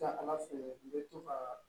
Taa ala fɛ i bɛ to ka